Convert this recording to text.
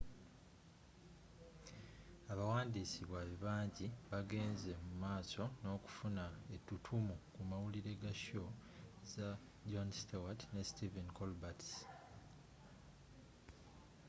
abawandiis baabwe banji bagenze mumaaso nookufuna ettuttumu ku mawulire ga show za jon stewart ne stephen colbert's